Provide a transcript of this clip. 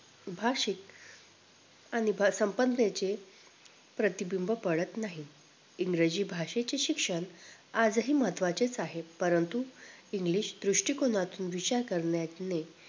भाषिक आणि संपनतेचे प्रतिबिंब पडत नाहीत इंग्रजी भाषेचे शिक्षण आजही महत्व्हाचे च आहे परंतु english दृष्टीकोनातून विचार करण्याने